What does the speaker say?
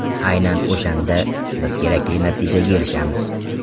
Aynan o‘shanda biz kerakli natijaga erishamiz.